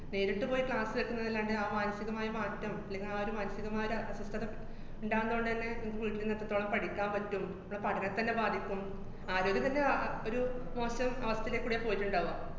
നേരിട്ട് പോയി class വക്കുന്നതിലാണ്ടെ ആ മാനസികമായ മാറ്റം അല്ലെങ്കി ആ ഒരു മാനസികമായ ഒരസ്വസ്ഥത ഇണ്ടാവുന്നതോടെന്നെ മ്മക്ക് വീട്ടീരുന്ന് എത്രത്തോളം പഠിക്കാം പറ്റും, മ്മടെ പഠനത്തിനെ ബാധിക്കും, ആരോഗ്യം പിന്നെ ആ അഹ് ഒരു മോശം അവസ്ഥേല് കൂടിയാ പോയിട്ട്ണ്ടാവ്ക.